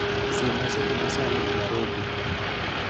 Siemna seche ma sani e narobi